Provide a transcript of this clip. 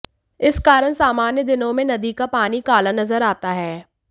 इस कारण सामान्य दिनों में नदी का पानी काला नजर आता है